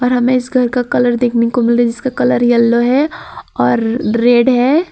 और हमें इस घर का कलर देखने को मिल रहा है जिसका कलर येलो है और रेड है।